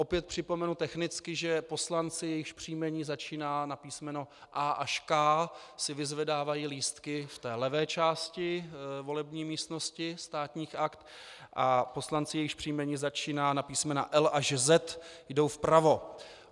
Opět připomenu technicky, že poslanci, jejichž příjmení začíná na písmeno A až K, si vyzvedávají lístky v té levé části volební místnosti Státních aktů a poslanci, jejichž příjmení začíná na písmena L až Z, jdou vpravo.